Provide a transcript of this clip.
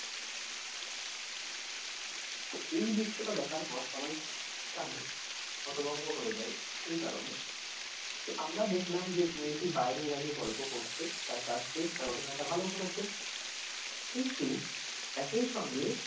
তো এই দৃশ্যটা দেখার পর সবাই এখানে হতভম্ব হয়ে যায়, এই কারণে যে আমরা দেখলাম যে মেয়েটি বাইরে দাঁড়িয়ে গল্প করছে তার কাজ শেষ তার অভিনয়টা ভালো করেছে কিন্তু একই সঙ্গে,